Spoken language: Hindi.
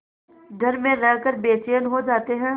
घर में रहकर बेचैन हो जाते हैं